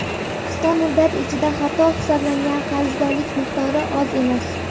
Qisqa muddat ichida xato hisoblangan qarzdorlik miqdori oz emas.